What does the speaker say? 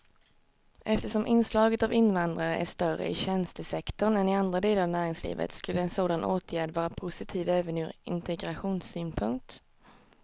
Eftersom inslaget av invandrare är större i tjänstesektorn än i andra delar av näringslivet skulle en sådan åtgärd vara positiv även ur integrationssynpunkt.